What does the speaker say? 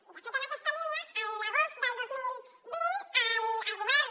i de fet en aquesta línia l’agost del dos mil vint el govern